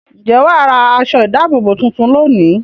Ǹjẹ́ wà á ra aṣọ-ìdáàbòbò tuntun lónìí?